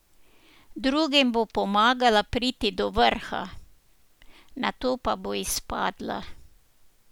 Drugim bo pomagala priti do vrha, na to pa bo izpadla.